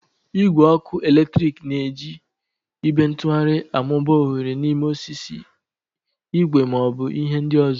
Igwe ọkụ eletrik na-eji ibe ntugharị amụba oghere n'ime osisi, igwe, ma ọ bụ ihe ndị ọzọ.